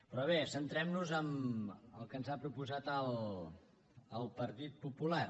però bé centrem nos en el que ens ha proposat el partit popular